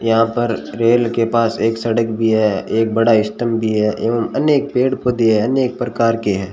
यहां पर रेल के पास एक सड़क भी है एक बड़ा स्तंभ भी है अनेक पेड़ पौधे हैं अनेक प्रकार के हैं।